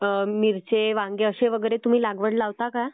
मिरची वांगे अशी वगैरे लागवड तुम्ही लावता का?